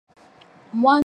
Mwana mwasi alati elamba.